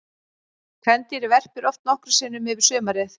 Kvendýrið verpir oft nokkrum sinnum yfir sumarið.